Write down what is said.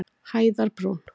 Hæðarbrún